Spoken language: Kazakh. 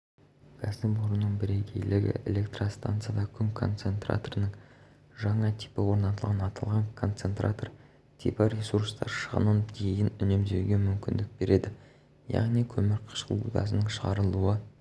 кәсіпорынның бірегейлігі электростанцияда күн концентраторының жаңа типі орнатылған аталған концентратор типі ресурстар шығынын дейін үнемдеуге мүмкіндік береді яғни көмірқышқыл газының шығарылуы